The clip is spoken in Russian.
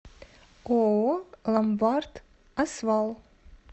ооо ломбард освал